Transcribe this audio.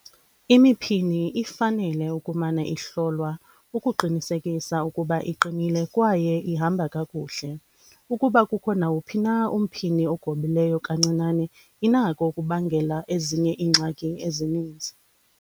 Imiphini ifanele ukumana ihlolwa ukuqinisekisa ukuba iqinile kwaye ihamba kakuhle. Ukuba kukho nawuphi umphini ogobileyo kancinane inako ukubangela ezinye iingxaki ezininzi.